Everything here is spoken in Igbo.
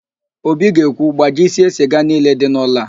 Obi ga-ekwu, gbajisie siga niile dị n'ụlọ a!